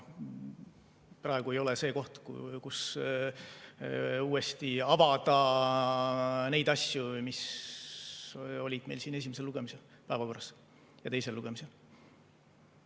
Praegu ei ole see koht, kus uuesti avada neid asju, mis olid meil siin esimesel ja teisel lugemisel päevakorral.